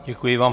Děkuji vám.